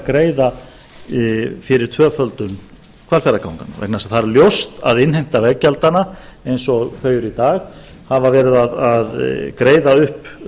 greiða fyrir tvöföldun hvalfjarðarganganna vegna þess að það er ljóst að innheimta veggjaldanna eins og þau eru í dag hafa verið að greiða upp